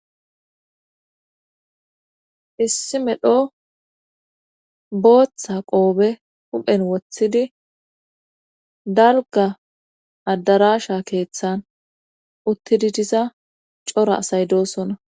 issi medho booththa qoobe huphen woththidi dalga addarasha keeththan uttidi diza cora asay doosona